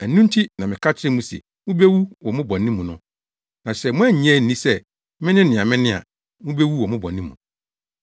Ɛno nti na meka kyerɛ mo se mubewu wɔ mo bɔne mu no. Na sɛ moannye anni sɛ, mene nea mene a, mubewu wɔ mo bɔne mu.”